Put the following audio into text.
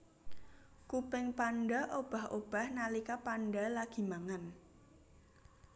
Kuping panda obah obah nalika panda lagi mangan